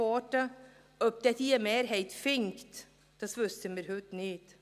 ob sie eine Mehrheit finden wird, das wissen wir heute nicht.